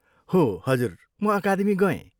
हो! हजुर, म अकादमी गएँ।